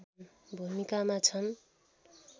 भूमिकामा छन्